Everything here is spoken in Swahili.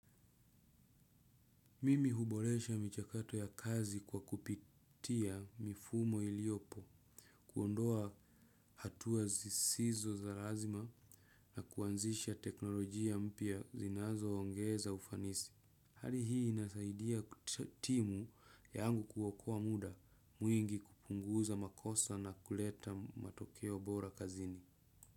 Mimi huboresha mchakato ya kazi kwa kupitia mifumo iliopo, kuondoa hatua zisizo za lazima na kuanzisha teknolojia mpya zinazoongeza ufanisi. Hali hii inasaidia timu yangu kuokoa muda mwingi kupunguza makosa na kuleta matokeo bora kazini.